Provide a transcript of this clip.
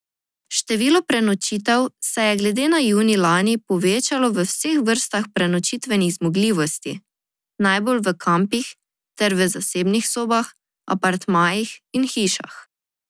Število prenočitev se je glede na junij lani povečalo v vseh vrstah prenočitvenih zmogljivosti, najbolj v kampih ter v zasebnih sobah, apartmajih in hišah.